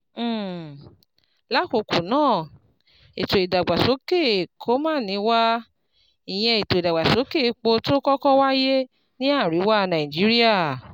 um Lákọ̀ọ́kọ́ ná, ètò ìdàgbàsókè Kolmani wà, ìyẹn ètò ìdàgbàsókè epo tó kọ́kọ́ wáyé ní àríwá Nàìjíríà